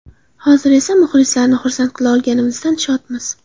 Hozir esa muxlislarni xursand qila olganimizdan shodmiz.